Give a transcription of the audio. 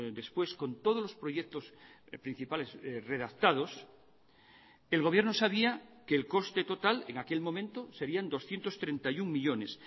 después con todos los proyectos principales redactados el gobierno sabía que el coste total en aquel momento serían doscientos treinta y uno millónes